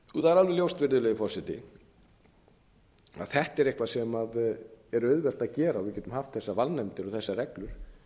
er alveg ljóst virðulegi forseti að þetta er eitthvað sem er auðvelt að gera og við getum haft þessar valnefndir og þessar reglur án þess að